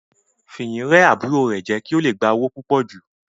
Fìyìn rẹ́ àbúrò rẹ̀ jẹ kí ó le gba owó púpò jù.